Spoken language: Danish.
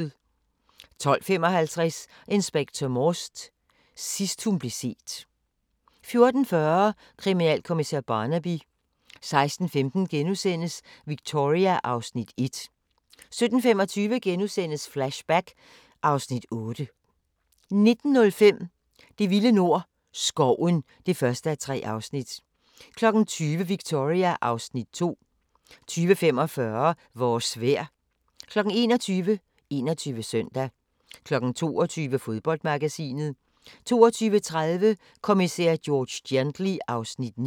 12:55: Inspector Morse: Sidst hun blev set 14:40: Kriminalkommissær Barnaby 16:15: Victoria (Afs. 1)* 17:25: Flashback (Afs. 8)* 19:05: Det vilde nord – Skoven (1:3) 20:00: Victoria (Afs. 2) 20:45: Vores vejr 21:00: 21 Søndag 22:00: Fodboldmagasinet 22:30: Kommissær George Gently (Afs. 9)